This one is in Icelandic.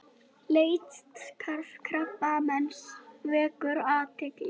Leitarstarf Krabbameinsfélagsins vekur athygli